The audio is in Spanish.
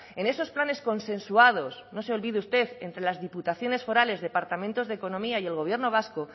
en esos planes consensuados no se olvide usted entre las diputaciones forales departamentos de economía y el gobierno vasco